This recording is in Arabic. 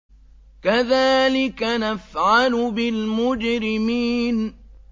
كَذَٰلِكَ نَفْعَلُ بِالْمُجْرِمِينَ